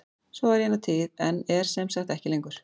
Svo var í eina tíð en er sem sagt ekki lengur.